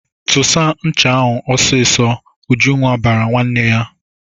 "Tụsa ncha ahụ ọsịsọ!" Ujunwa bara nwanne ya.